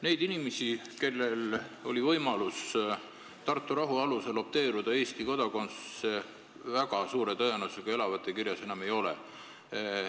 Neid inimesi, kellel oli võimalus Tartu rahulepingu alusel opteeruda, valida Eesti kodakondsus, väga suure tõenäosusega elavate kirjas enam ei ole.